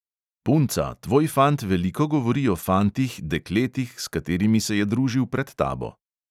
Punca, tvoj fant veliko govori o fantih, dekletih, s katerimi se je družil pred tabo.